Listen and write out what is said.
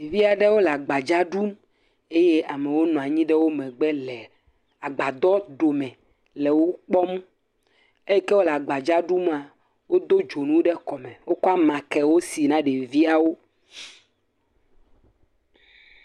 Ɖevi aɖewo le agbadza ɖum eye amewo nɔ anyi ɖe wo megbe le agbadɔɖome le wo kpɔm, eyi ke wole agbadza ɖum, wodo dzonu ɖe kɔme, wokɔ amakɛwo si na ɖeviawo.